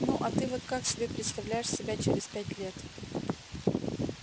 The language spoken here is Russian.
ну а ты вот как себе представляешь себя через пять лет